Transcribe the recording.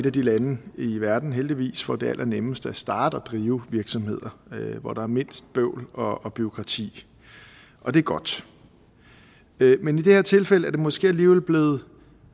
af de lande i verden heldigvis hvor det er allernemmest at starte og drive virksomhed og hvor der er mindst bøvl og bureaukrati og det er godt men i det her tilfælde er det måske alligevel blevet